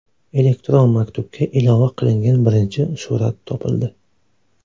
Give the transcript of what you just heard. Elektron maktubga ilova qilingan birinchi surat topildi.